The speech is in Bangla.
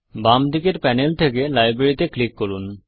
বাম দিকের প্যানেল থেকে লাইব্রেরি তে ক্লিক করুন